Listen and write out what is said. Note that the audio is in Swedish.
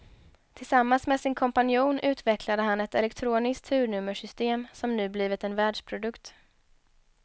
Tillsammans med sin kompanjon utvecklade han ett elektroniskt turnummersystem som nu blivit en världsprodukt.